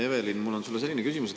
Evelin, mul on sulle selline küsimus.